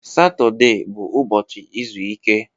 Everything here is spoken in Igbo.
Satọde bụ ụbọchị izu ike